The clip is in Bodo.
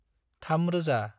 थाम रोजा